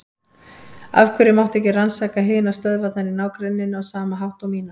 Af hverju mátti ekki rannsaka hinar stöðvarnar í ná- grenninu á sama hátt og mína?